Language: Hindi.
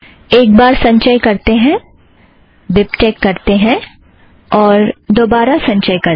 एक बार संचय करते हैं बिबटेक करते हैं और दोबारा संचय करते हैं